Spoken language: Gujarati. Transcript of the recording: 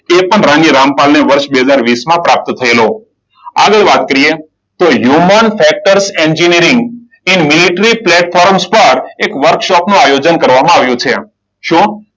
એ પણ રાણી રામપાલ ને વર્ષ બે હજાર વીસમાં પ્રાપ્ત થયેલો. આગળ વાત કરીએ તો હ્યુમન ફેક્ટર્સ એન્જિનિયરિંગ એ મિલિટરી પ્લેટ ફોર્મ્સ પર એક વર્કશોપનું આયોજન કરવામાં આવ્યું છે. શું?